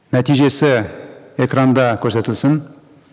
нәтижесі экранда көрсетілсін